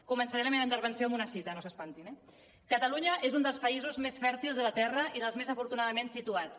començaré la meva intervenció amb una cita no s’espantin eh catalunya és un dels països més fèrtils de la terra i dels més afortunadament situats